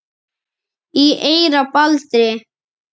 í eyra Baldri